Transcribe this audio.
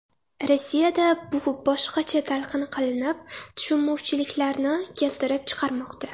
Rossiyada bu boshqacha talqin qilinib tushunmovchiliklarni keltirib chiqarmoqda.